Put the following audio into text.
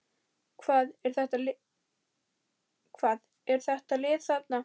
Hvað er þitt lið þar?